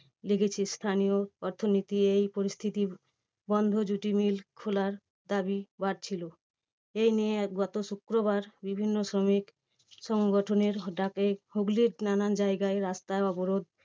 লেগেছে। স্থানীয় অর্থনীতি এই পরিস্থিতির বন্ধ jute mill খোলার দাবী বাড়ছিল। এই নিয়ে গত শুক্রবার বিভিন্ন শ্রমিক সংগঠনের ডাকে হুগলির নানান জায়গায় রাস্তা অবরোধ